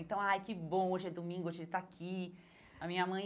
Então, ai, que bom, hoje é domingo, hoje ele está aqui, a minha mãe.